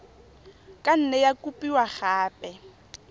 ka nne ya kopiwa gape